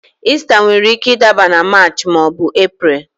Ista nwere ike ịdaba na Maachị maọbu Epreel